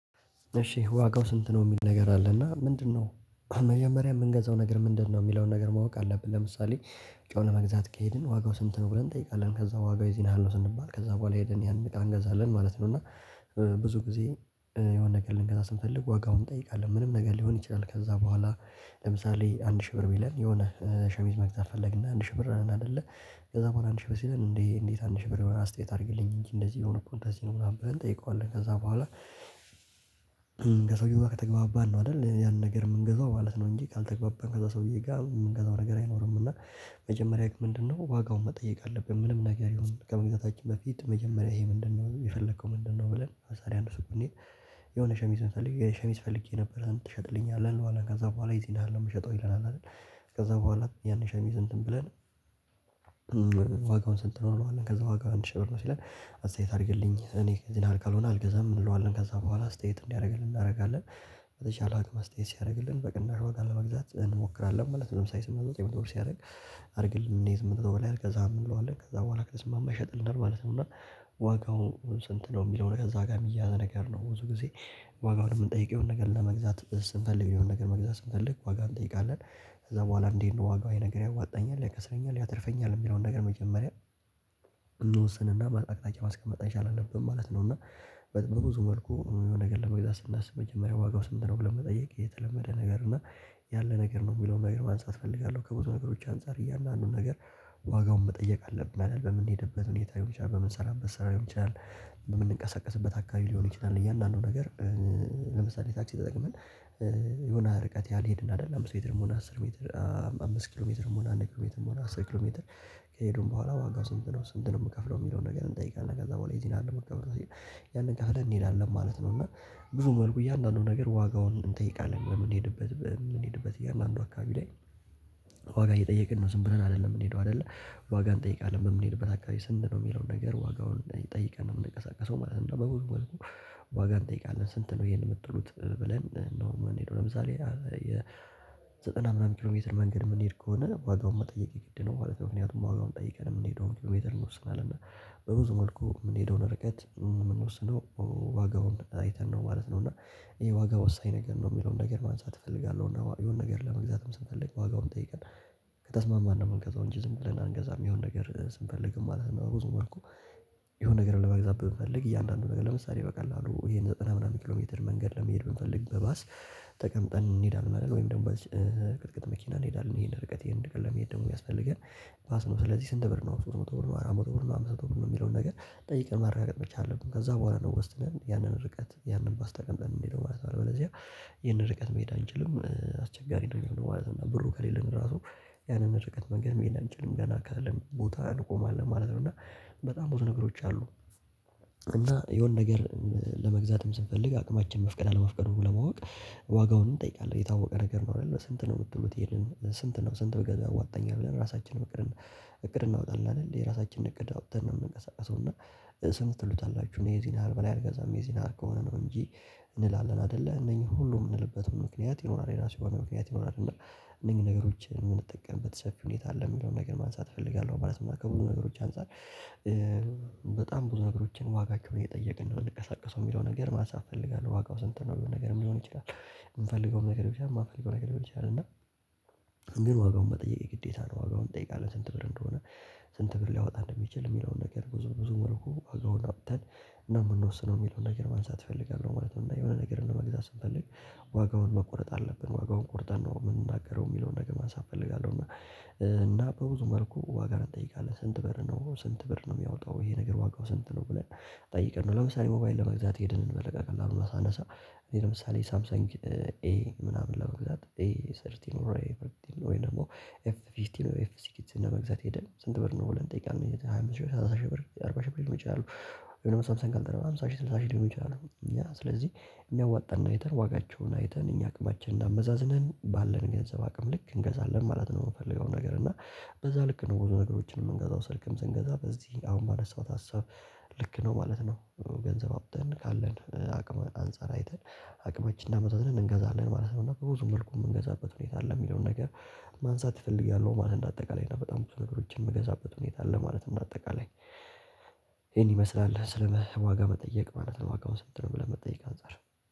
እሺ ዋጋው ስንት ነው የሚል ነገር አለ እና ምንድነው? መጀመሪያ የምንገዛው ነገር ምንድነው የሚለውን ነገር ማወቅ አለብን። ለምሳሌ ጨው ለመግዛት ከሄድን ዋጋው ስንት ነው ብለን እንጠይቃለን ከዛ ዋጋው ይዚን ያሀል ስንባል ከዛ በኋላ ሄድን ያንቃን እገዛልን ማለት ነው። እና ብዙ ጊዜ የሆነ ነገር ልንገዛ ስንተልልግ ዋጋውን እንጠይቃለን ምንም ነገር ሊሆን ይችላል። ከዛ በኋላ ለምሳሌ አንድ ሺህ ብር ቢለን የሆነ ሸሚዝ መግዛት ፈለግና አንድ ሺህ ብር አለን ነን አይደለ? ከዛ በኋላ አንድ ሺህ ብር ሲለን እንዴ እንዴት አንድ ሺህ ብር የሆናል አስተያየት አድርግልኝ እንጂ እንደዚህ የሆነ እኮ እንደዚህ ነው ምናምን ብለን እንጠይቀዋለን። ከዛ በኋላ ከሰውየው ጋር ከተግባባን ነው አይደል ያን ነገር የምንገዛው ማለት ነው። እንጂ ካልተግባባን ከዛ ሰውዬ ጋር የምንገዛው ነገር አይኖርም። እና መጀመሪያ ህግ ምንድነው ዋጋውን መጠየቅ አለብን። ምንም ነገር ይሁን ከመግዛታችን በፊት መጀመሪያ ይሄ ምንድነው የፈለከው ምንድነው? ብለን አሳሪ አንድ ስኩኔ የሆነ ሸሚዝ መስለኝ ሸሚዝ ፈልጌ ነበር ትሸጥልኛለህ እንልዋለን አለ ከዛ በኋላ እዚህ ነህ ነው የምሸጠው ይለናል አይደል። ከዛ በኋላ ያን ሸሚዝ እንትን ብለን ዋጋውን ስንት ነው? ከዛ ዋጋው አንድ ሺህ ብር ነው ሲለን አስተያዩት አድርግልኝ እኔ ዝናል ካልሆነ አልገዛም እንለዋለን ከዛ በኋላ አስተያየት እንዲያደርግልን እናደርጋለን በተቻለ ኣቅም አስተያየት ሲያደርግልን በቅናሽ ዋጋ ለመግዛት እንሞክራለን ማለት ነው። ሰማንያ ስምንት ወጥ የመቶ ብር ሲያደርግ አድርግልኝ እኔ ስምንት ወጥ ብለው አልገዛም እንለዋለን ከዛ በኋላ ከተስማማ ይሸጥልናል ማለት ነው። እና ዋጋው ስንት ነው የሚለው እዛ ጋር እሚያዝ ነገር ነው። ብዙ ጊዜ ዋጋውን የምንጠይቀው ነገር ለመግዛት ስንፈልግ የሆነ ነገር መግዛት ስንፈልግ ዋጋ እንጠይቃለን። ከዛ በኋላ እንዴት ዋጋው የነገረ ያዋጣኛል ያከሰኛል ያተርፈኛል የሚለውን ነገር መጀመሪያ መጠቅጠቂያ ማስቀመጥ አይቻልም ማለት ነው። እና በጥበብ ብዙ መልኩ ነገር ደግሞ ለመግዛት ስናስብ መጀመሪያ ዋጋው ስንት ነው መጠየቅ የተለመደ ነገር እና። ያለ ነገር ነው የሚለውን ነገር ማንሳት እፈልጋለሁ። ከብዙ ነገሮች አንፃር እያለ አንዱን ነገር ዋጋውን መጠየቅ አለብን። አይደል በምንሄድበት ሁኔታ ይሆናል። በምንሰራም መሰራት ይሆናል። በምንቀሳቀስበት አካባቢ ሊሆን ይችላል። እያንዳንዱ ነገር ለምሳሌ ታክሲ ተጠቅመን የሆነ ርቀት ያልሄድን አይደለም። ብዙ ሜትርም ሆነ አስር ሜትር አምስት ኪሎ ሜትርም ሆነ አንድ ኪሎ ሜትርም ሆነ አስር ኪሎ ሜትር ከሄድን በኋላ ዋጋው ስንት ነው? ስንት ነው የምከፍለው የሚለውን ነገር እንጠይቃለን። ከዛ በኋላ የዚህን ያህል ነው ከፍለን እንሄዳለን ማለት ነው። እና ብዙ መልኩ እያንዳንዱን ነገር ዋጋውን እንጠይቃለን። በምንሄድበት በምንሄድበት እያልን አንዱ አካባቢ ላይ ዋጋ እየጠየቅን ነው። ዝም ብለን አይደለም የምንሄደው አይደለ። ዋጋ እንጠይቃለን በምንሄድበት አካባቢ ስንት ነው? የሚለውን ነገር ዋጋውን ጠይቀን ነው የምንቀሳቀሰው ማለት ነው። በብዙ ዋጋ እንጠይቃለን ስንት ነው ይሄን የምትሉት ብለን ኖርማል እንሄድ ለምሳሌ የዘጠና ምናምን ኪሎ ሜትር መንገድ የምንሄድ ከሆነ ዋጋውን መጠየቅ ግድ ነው። ማለት ምክንያቱም ዋጋውን ጠይቀን የምንሄደውን ኪሎሜትር ይወስነዋል። እና በብዙ መልኩ የምንሄደውን ርቀት የምንወስነው ዋጋውን አይተን ነው ማለት ነው። እና ይሄ ዋጋ ወሳኝ ነገር ነው የሚለውን ነገር ማንሳት እፈልጋለሁ። እና የሆነ ነገር ለመግዛትም ስንፈልግ ዋጋውን ጠይቀን ከተስማማን ነው። የምንገዛው እንጂ ዝም ብለን አንገዛም። የሆነ ነገር ስንፈልግ ማለት በብዙ መልኩ። የሆነ ነገር ለመግዛት ብንፈልግ እያንዳንዱ ነገር ለምሳሌ በቀላሉ ይሄን ዘጠና ምናምን ኪሎ ሜትር መንገድ ለመሄድ ብንፈልግ በባስ ተቀምጠን እንሄዳለን። ወይም ደግሞ በቅጥቅጥ መኪና እንሄዳለን። ይሄን ርቀት ይሄን ደግሞ መሄድ ደግሞ የሚያስፈልገን ፋስ ነው። ስለዚህ ስንት ብር ነው ስድስት ብር አራት መቶ ብር ነው የሚለውን ነገር ጠይቀን ማረጋገጥ መቻል አለብን። ከዛ በኋላ ነው ውስጥ ያንን ርቀት ያንን ባስ ተቀምጠን የምንሄደው ማለት ነው። ኣለበለዚያ ይሄን ርቀት መሄድ አንችልም አስቸጋሪ ነው የሚሆነው ማለት ነው። ብሩ ከሌለን ራሱ ያንን ርቀት መንገድ መሄድ አንችልም። ገና ካለን ቦታ እንቆማለን ማለት ነው። እና በጣም ብዙ ነገሮች አሉ። እና የሆነ ነገር ለመግዛትም ስንፈልግ አቅማችን መፍቀድ አለመፍቀዱ ለማወቅ ዋጋውን እንጠይቃለን የታወቀ ነገር ነው። አይደለ ስንት ነው? የምትሉት ይሄድን ስንት ነው? ስንት በገንዘብ ዋጠኛል ብለን ራሳችንን እቅድ እቅድ እናውጣለን አይደል የራሳችንን እቅድ አውጥተን ነው የምንቀሳቀሰው። እና ስሙ ትሉታላችሁ እኔ የዚን ያህል በላይ አልገዛም የዚን ያህል ከሆነ ነው። እንጂ እንላለን አይደለ እነኚህ ሁሉ የምንልበት ምክንያት ይኖራል። የራሱ የሆነ ምክንያት ይኖራል። እና እነኚህ ነገሮችን የምንጠቀምበት ሰፊ ሁኔታ አለ የሚለውን ነገር ማንሳት እፈልጋለሁ ማለት ነው። ከብዙ ነገሮች አንፃር በጣም ብዙ ነገሮችን ዋጋ ከሆነ የጠየቅን ነው የምንቀሳቀሰው የሚለው ነገር ማንሳት እፈልጋለሁ። ዋጋው ስንት ነው የሚሆን ነገር ሊሆን ይችላል። የምንፈልገውም ነገር ሊሆን ይችላል የማንፈልገው ነገር ሊሆን ይችላል። እና ግን ዋጋውን መጠየቅ የግዴታ ነው። ዋጋውን እንጠይቃለን ስንት ብር እንደሆነ። ስንት ብር ሊያወጣ እንደሚችል የሚለውን ነገር ብዙ ብዙ መልኩ ዋጋውን አባዝተን እና የምንወስነው የሚለውን ነገር ማንሳት እፈልጋለሁ። ማለት ነው። እና የሆነ ነገር እንደ መግዛት ስንፈልግ ዋጋውን መቆረጥ አለብን። ዋጋውን ቆርጠን ነው የምንናገረው የሚለውን ነገር ማንሳት እፈልጋለሁ። እና እና በብዙ መልኩ ዋጋን እንጠይቃለን ስንት በር ነው ስንት በር ነው የሚያወጣው ይሄ ነገር ዋጋው ስንት ነው ብለን። ጠይቀናል ለምሳሌ ሞባይል ለመግዛት ሄድን በቀላሉ አሁን ሳነሳ እኔ ለምሳሌ ሳምሰንግ ኤ ምናምን ለመግዛት ኤ ሰርቲ ኖሮ ኤ ቨርቲ ወይ ደግሞ ኤፍ ፊስቲ ነው ኤፍሲ ነው ለመግዛት ሄደን ስንት ብር ነው ብለን እንጠይቃለን። ሃያ አምስት ሺህ ብር ሰላሳ ሺህ ብር አርባ ሺህ ብር ሊሆን ይችላል። የሳምሰንን ደግሞ ሃምሳ ሺህ ስልሳ ሺህ ሊሆን ይችላል። እኛ ስለዚህ የሚያዋጣን አይተን ዋጋቸውን አይተን እኛ አቅማችንን አመዛዝንን ባለን ገንዘብ አቅም ልክ እንገዛለን ማለት ነው። የምንፈልገው ነገር እና በዛ ልክ ነው ብዙ ነገሮችን የምንገዛው ስልክም ስንገዛ በዚህ አሁን ባነሳሁት ሀሳብ ልክ ነው ማለት ነው። ገንዘብ ኣውጥተን ካለን አቅም አንፃር አይተን አቅመችን አመዛዝነን እንገዛለን ማለት ነው። እና በብዙ መልኩ የምንገዛበት ሁኔታ አለ። የሚለውን ነገር ማንሳት እፈልጋለሁ። ማለት እንደ አጠቃላይ ነው። በጣም ብዙ ነገሮችን የምንገዛበት ሁኔታ ኣለ ማለት ነው። እንደ አጠቃላይ ይሄን ይመስላል ስለ ዋጋ መጠየቅ ማለት ነው። ዋጋውን ስንት ነው ብለህ መጠየቅ አንፃር